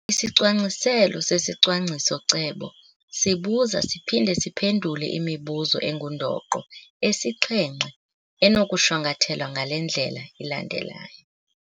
Isicwangciselo sesicwangciso-cebo sibuza siphinde siphendule imibuzo engundoqo esixhenxe enokushwankathelwa ngale ndlela ilandelayo.